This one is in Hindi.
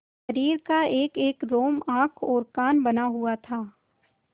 शरीर का एकएक रोम आँख और कान बना हुआ था